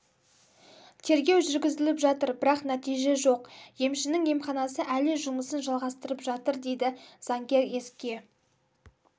тергеу жүргізіліп жатыр бірақ нәтиже жоқ емшінің емханасы әлі жұмысын жалғастырып жатыр дейді заңгер еске